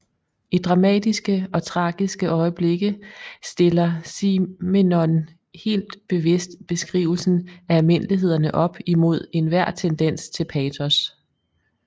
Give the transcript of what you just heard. I dramatiske og tragiske øjeblikke stiller Simenon helt bevidst beskrivelsen af almindelighederne op imod enhver tendens til patos